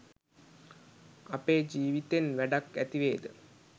අපේ ජීවිතෙන් වැඩක් ඇතිවේද